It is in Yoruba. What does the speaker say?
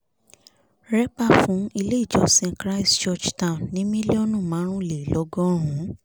rẹ́pà fún ilé-ìjọsìn christ church town ní mílíọ̀nù márùnlélọ́gọ́rùn ún